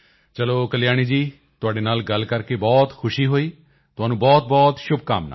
ਚਲੋ ਕਲਿਆਣੀ ਜੀ ਤੁਹਾਡੇ ਨਾਲ ਗੱਲ ਕਰਕੇ ਬਹੁਤ ਖੁਸ਼ੀ ਹੋਈ ਤੁਹਾਨੂੰ ਬਹੁਤਬਹੁਤ ਸ਼ੁਭਕਾਮਨਾਵਾਂ